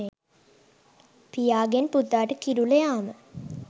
පියාගෙන් පුතාට කිරුල යාම